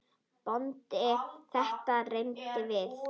BÓNDI: Þetta reyndum við!